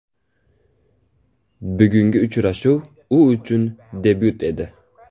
Bugungi uchrashuv u uchun debyut edi.